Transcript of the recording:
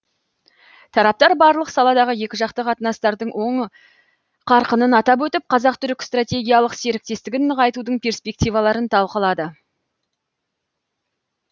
тараптар барлық саладағы екіжақты қатынастардың оң қарқынын атап өтіп қазақ түрік стратегиялық серіктестігін нығайтудың перспективаларын талқылады